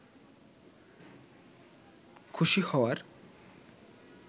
খুশি হওয়ার